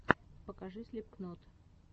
покажи слипкнот